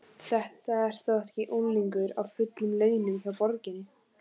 Þetta er þó ekki unglingur á fullum launum hjá borginni?